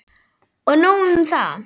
Og nóg um það.